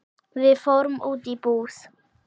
Við fórum út í búð.